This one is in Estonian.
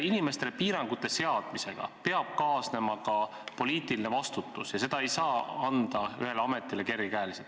Inimestele piirangute seadmisega peab kaasnema ka poliitiline vastutus ja seda ei saa anda kergekäeliselt ühele ametile.